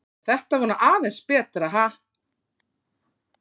Já, þetta var nú aðeins betra, ha!